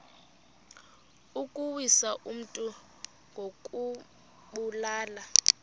ukuwisa umntu ngokumbulala